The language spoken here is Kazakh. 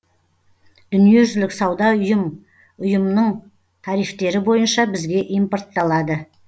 дүниежүзілік сауда ұйым ұйымының тарифтері бойынша бізге импортталады